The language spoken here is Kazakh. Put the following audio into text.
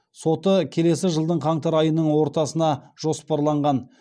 соты келесі жылдың қаңтар айының ортасына жоспарланған